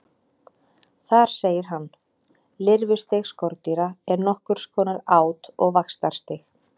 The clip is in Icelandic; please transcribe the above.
Þar segir hann: Lirfustig skordýra er nokkurs konar át- og vaxtarstig.